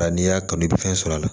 Bari n'i y'a kanu i bɛ fɛn sɔrɔ a la